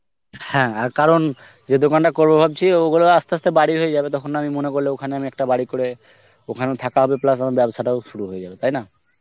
হ্যাঁ আর কারণ যে দোকানটা করব ভাবছি, ওগুলো আস্তে আস্তে বাড়ি হয়ে যাবে, তখন আমি মনে করলে ওখানে একটা বাড়ি করে ওখানেও থাকা হবে plus আমার ব্যবসাটা শুরু হয়ে যাবে, তাই না?